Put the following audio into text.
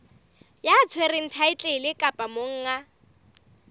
ya tshwereng thaetlele kapa monga